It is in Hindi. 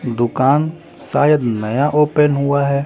दुकान शायद नया ओपन हुआ हैं ।